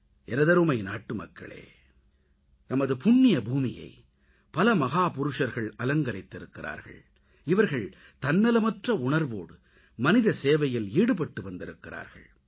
எனதருமை நாட்டுமக்களே நமது புண்ணியபூமியை பல மகாபுருஷர்கள் அலங்கரித்திருக்கிறார்கள் இவர்கள் தன்னலமற்ற உணர்வோடு மனித சேவையில் ஈடுபட்டிருக்கிறார்கள்